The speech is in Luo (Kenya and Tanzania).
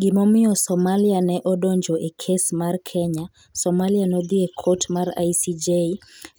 Gimomiyo Somalia ne odonjo e kes mar Kenya Somalia nodhi e kot mar ICJ